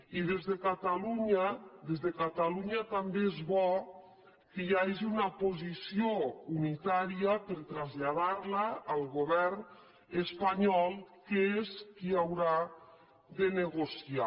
i des de catalunya des de catalunya també és bo que hi hagi una posició unitària per traslladar la al govern espanyol que és qui haurà de negociar